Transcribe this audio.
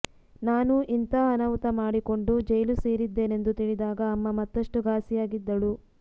ನಾನು ಇಂಥ ಅನಾಹುತ ಮಾಡಿಕೊಂಡು ಜೈಲು ಸೇರಿದ್ದೇನೆಂದು ತಿಳಿದಾಗ ಅಮ್ಮ ಮತ್ತಷ್ಟು ಘಾಸಿಯಾಗಿದ್ದಳು